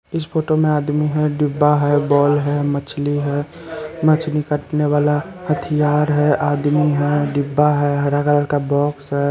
इस फोटो में आदमी है डिब्बा है बॉल है मछली है मछली काटने वाला हथियार है आदमी है डिब्बा है हरा कलर का बाक्स है।